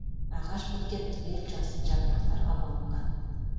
ағаш біткен түгел жасыл жапырақтарға малынған